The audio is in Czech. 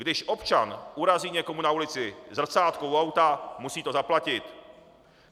Když občan urazí někomu na ulici zrcátko u auta, musí to zaplatit.